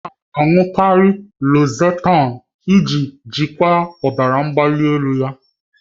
Ọ na-aṅụkarị losartan iji jikwaa ọbara mgbali ya.